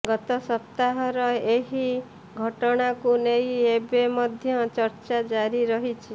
ଗତ ସପ୍ତାହର ଏହି ଘଟଣାକୁ ନେଇ ଏବେ ମଧ୍ୟ ଚର୍ଚ୍ଚା ଜାରି ରହିଛି